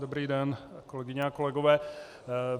Dobrý den, kolegyně a kolegové.